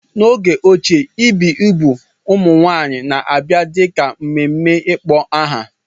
N'oge ochie, ibi igbu ụmụ nwanyị na-abia dị ka mmemme ịkpọ aha.